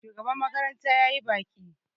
shugaban makaranta ya yi baƙi